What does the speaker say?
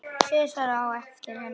Sesar á eftir henni.